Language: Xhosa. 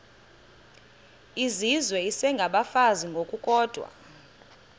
izizwe isengabafazi ngokukodwa